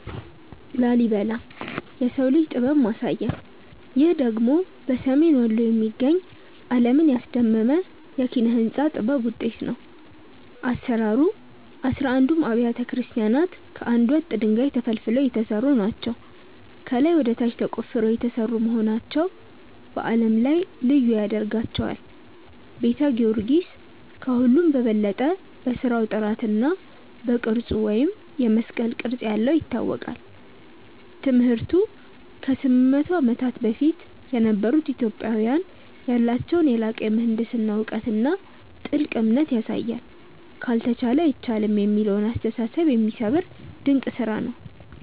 ላሊበላ (Lalibela) - "የሰው ልጅ ጥበብ ማሳያ" ይህ ደግሞ በሰሜን ወሎ የሚገኝ፣ ዓለምን ያስደመመ የኪነ-ሕንጻ ጥበብ ውጤት ነው። አሰራሩ፦ አሥራ አንዱም አብያተ ክርስቲያናት ከአንድ ወጥ ድንጋይ (Monolithic) ተፈልፍለው የተሰሩ ናቸው። ከላይ ወደ ታች ተቆፍረው የተሰሩ መሆናቸው በዓለም ላይ ልዩ ያደርጋቸዋል። ቤተ ጊዮርጊስ፦ ከሁሉም በበለጠ በሥራው ጥራትና በቅርጹ (የመስቀል ቅርጽ ያለው) ይታወቃል። ትምህርቱ፦ ከ800 ዓመታት በፊት የነበሩ ኢትዮጵያውያን ያላቸውን የላቀ የምህንድስና እውቀትና ጥልቅ እምነት ያሳያል። "ካልተቻለ አይቻልም" የሚለውን አስተሳሰብ የሚሰብር ድንቅ ስራ ነው።